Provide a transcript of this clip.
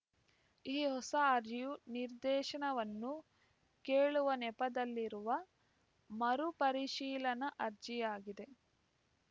ಈ ಹೊಸ ಅರ್ಜಿಯು ನಿರ್ದೇಶನವನ್ನು ಕೇಳುವ ನೆಪದಲ್ಲಿರುವ ಮರು ಪರಿಶೀಲನಾ ಅರ್ಜಿಯಾಗಿದೆ